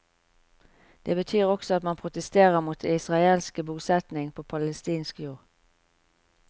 Det betyr også at man protesterer mot israelske bosetning på palestinsk jord.